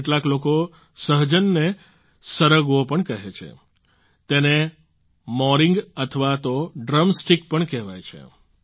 કેટલાક લોકો સહજનને સરગવો પણ કહે છે તેને મોરિંગ અથવા તો ડ્રમ સ્ટિક પણ કહેવાય છે